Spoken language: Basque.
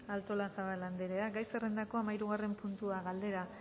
artolazabal anderea gai zerrendako hamahirugarren puntua galdera